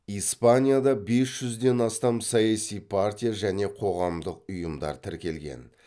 испанияда бес жүзден астам саяси партия және қоғамдық ұйымдар тіркелген